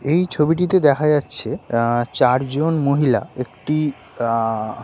এই ছবিটিতে দেখা যাচ্ছে আ- চারজন মহিলা একটি আঁ--